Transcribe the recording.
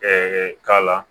k'a la